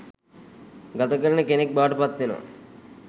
ගත කරන කෙනෙක් බවට පත්වෙනවා.